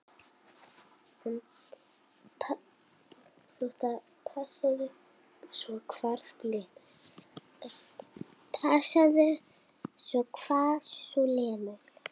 Passaðu svo hvar þú lemur.